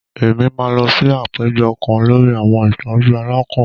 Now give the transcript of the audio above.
Èmí máa lọ sí àpéjọ kán lórí àwọn ìtọjú àlakán